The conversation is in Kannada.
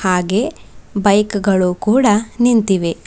ಹಾಗೆ ಬೈಕ್ ಗಳು ಕೂಡ ನಿಂತಿವೆ.